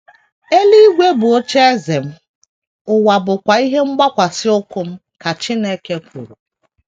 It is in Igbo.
“ Eluigwe bụ ocheeze m, ụwa bụkwa ihe mgbakwasị ụkwụ m, ” ka Chineke kwuru.